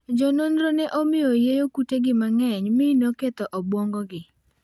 Jo nonro ne omiyo oyieyo kutegi mang'enymi ne oketho obuongogi